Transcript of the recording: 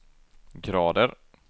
grader